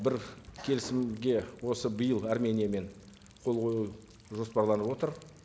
бір келісімге осы биыл армениямен қол қою жоспарланып отыр